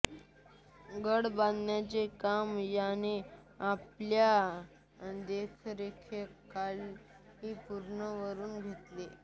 गड बांधण्याचे काम याने आपल्या देखरेखीखाली पूर्ण करून घेतले